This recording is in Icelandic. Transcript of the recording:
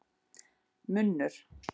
Lyginn munnur rænir hvern mann heiðri.